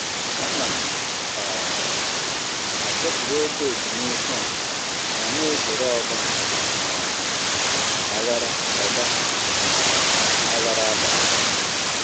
Ana m um asọpụrụ oge ezumike ọha ma na-ezere ọgba um aghara ọgba um aghara abalị.